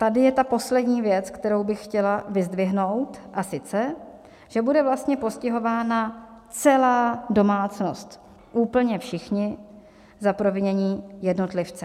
Tady je ta poslední věc, kterou bych chtěla vyzdvihnout, a sice že bude vlastně postihována celá domácnost, úplně všichni, za provinění jednotlivce.